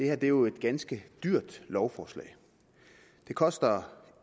er jo et ganske dyrt lovforslag det koster